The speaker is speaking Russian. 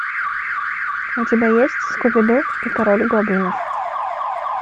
у тебя есть скуби ду и король гоблинов